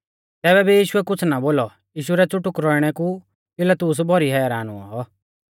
तैबै भी यीशुऐ कुछ़ ना बोलौ यीशु रै च़ुटुक रौइणै कु पिलातुस भौरी हैरान हुऔ